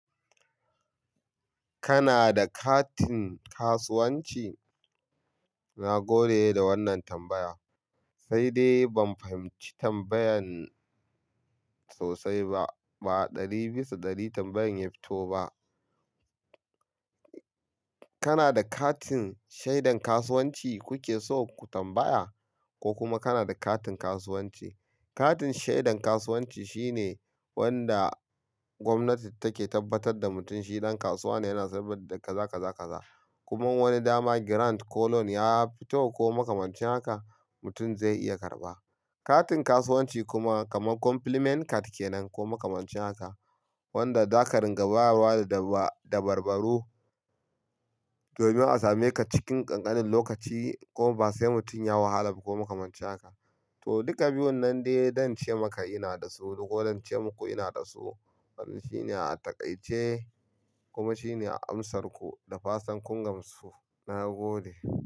Kana da katin kasuwanci? Na gode da wannan tambaya, sai dai ban fahimci tambayan sosai ba. Ba ɗari bisa ɗari tambayan ya fito ba. Kana da katin shaidan kasuwanci kuke so ku tambaya ko kuma kana da katin kasuwanci? Katin shaidan kasuwanci shine wanda gwamnati take tabbatar da mutum shi dan kasuwa ne yana sayar da kazakazakaza. Kuma wani dama grant ko loan ya fito ko makamancin haka, mutum zai iya karɓa. Katin kasuwanci kuma kamar compliment card kenan ko makamancin haka, wanda zaka ringa bayarwa da dabarbaro domin a same ka cikin ƙanƙanin lokaci ko ba sai mutum ya wahala ba ko makamancin haka. To, duka biyun nan dai don ce maka ina da su ko don ce muku ina da su. Wannan shine a taƙaice kuma shine a amsar ku da fatan kun gamsu. Na gode.